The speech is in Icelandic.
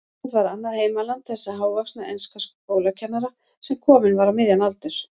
Ísland var annað heimaland þessa hávaxna enska skólakennara, sem kominn var á miðjan aldur.